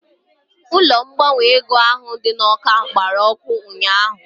Ụlọ ngbanwe ego ahụ dị n'Awka gbara ọkụ ụnyaahụ